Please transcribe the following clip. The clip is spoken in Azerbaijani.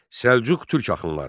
Səlcuq Türk axınları.